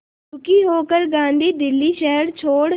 दुखी होकर गांधी दिल्ली शहर छोड़